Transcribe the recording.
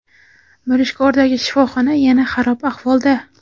Mirishkordagi shifoxona yana xarob ahvolda.